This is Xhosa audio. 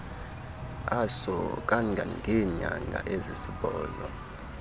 aso kangangeenyanga ezisibhozo